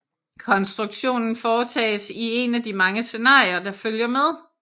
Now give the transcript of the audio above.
Konstruktionen foretages i en af de mange scenarier der følger med